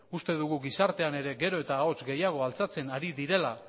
uste dugu gizartean ere gero eta ahots gehiago altxatzen ari direla